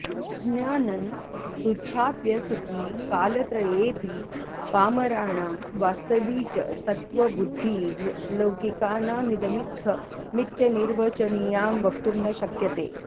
अज्ञानं तुच्छाप्यसती कालत्रयेऽपि पामराणां वास्तवी च सत्त्वबुद्धिर्लौकिकानामिदमित्थमित्यनिर्वचनीया वक्तुं न शक्यते